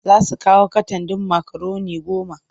Za su kawo katan ɗin makaroni goma.